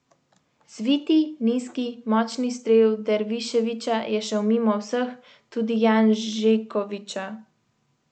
Zviti, nizki, močni strel Derviševića je šel mimo vseh, tudi Janžekovića.